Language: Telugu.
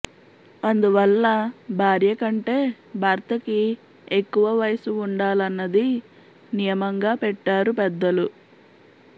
అందువల్ల భార్య కంటే భర్తకి ఎక్కువ వయసు ఉండాలన్నది నియమంగా పెట్టారు పెద్దలు